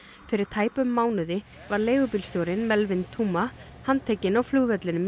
fyrir tæpum mánuði var leigubílstjórinn Melvin Theuma handtekinn á flugvellinum